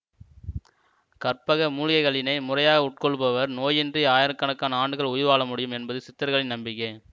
கற்பக மூலிகைகளினை முறையாக உட்கொள்ளுபவர் நோயின்றி ஆயிரக்கணக்கான ஆண்டுகள் உயிர் வாழமுடியும் என்பது சித்தர்களின் நம்பிக்கை